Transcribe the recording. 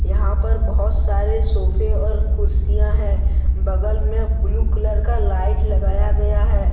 यहां पर बहुत सारे सोफे और कुर्सियां हैं बगल में ब्लू कलर का लाइट लगाया गया है।